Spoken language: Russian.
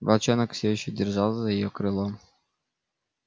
волчонок всё ещё держал за её крыло